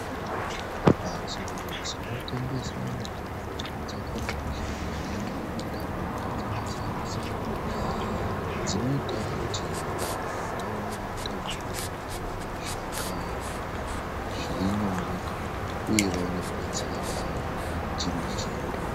Mbatso dzinotengeswa mitombo dzakakosha maningi muntaraunda dzakasiyana siyana. Dzinoita kuti vantu vaone mitombo zvirinyore uye vaone kubetsereka chimbi chimbi